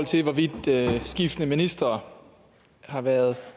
til hvorvidt skiftende ministre har været